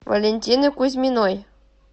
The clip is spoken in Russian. валентины кузьминой